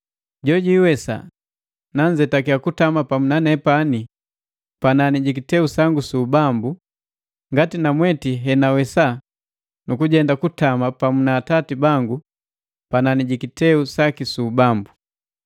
“Jo jwiiwesa nanzetakiya kutama pamu na nepani panani jiki kiteu sangu su ubambu, ngati namweti he na wesa nu kujenda kutama pamu na Atati bangu panani ji kiteu saki su ubambu.